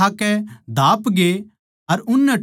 सारे खाकै धापगे